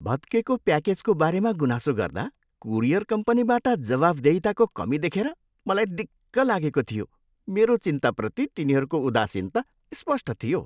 भत्केको प्याकेजको बारेमा गुनासो गर्दा कुरियर कम्पनीबाट जवाफदेहिताको कमी देखेर मलाई दिक्क लागेको थियो। मेरो चिन्ताप्रति तिनीहरूको उदासीनता स्पष्ट थियो।